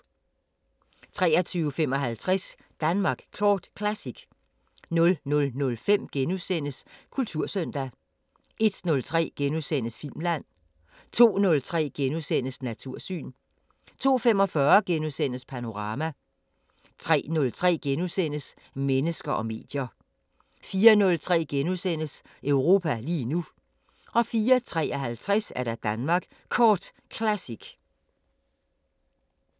23:55: Danmark Kort Classic 00:05: Kultursøndag * 01:03: Filmland * 02:03: Natursyn * 02:45: Panorama * 03:03: Mennesker og medier * 04:03: Europa lige nu * 04:53: Danmark Kort Classic